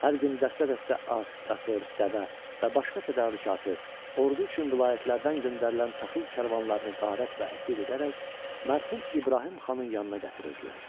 Hər gün dəstə-dəstə at, qatır, dəvə və başqa tədarükatı, ordu üçün vilayətlərdən göndərilən taxıl karvanlarını qarət və əsir edərək, mərhum İbrahim xanın yanına gətirirdilər.